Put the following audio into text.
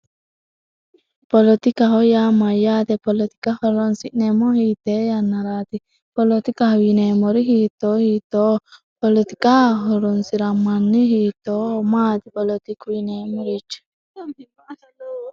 polotika hoyyaa mayyaate polotika horonsi'neemmo hiite yannaraati poolootikahuyineemori hiittoo hiitoo polotiqa horonsi'ra manni hiittoo maati poolotiku yineemorichi